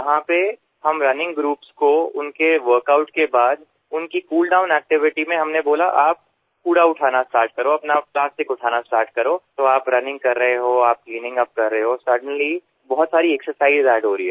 जहाँ पर हम रनिंग ग्रुप्स को उनके वर्क आउट के बाद उनकी कूल डाउन एक्टिविटी में हमने बोला आप कूड़ा उठाना स्टार्ट करो अपना आप प्लास्टिक उठाना स्टार्ट करो तो आप रनिंग कर रहे हो आप क्लीनिंगअप कर रहे हो सडेनली बहुत सारी एक्सरसाइज अद्द हो रही है